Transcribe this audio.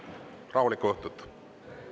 Rahulikku õhtut!